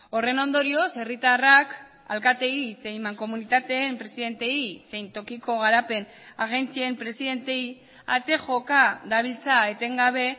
horren ondorioz herritarrak alkateei zein mankomunitateen presidenteei zein tokiko garapen agentzien presidenteei ate joka dabiltza etengabe